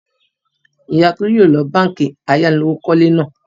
Ìyá Tolú yóò lọ báńkì ayánilówókọ́lé náà.